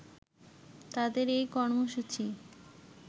তাদের এই কর্মসূচি